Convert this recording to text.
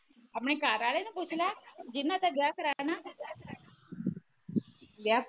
ਆਪਣੇ ਘਰਵਾਲੇ ਨੂੰ ਪੁਛਲਾ ਜਿਨ੍ਹਾਂ ਤੇ ਵਿਆਹ ਕਰਵਾਇਆ ਨਾ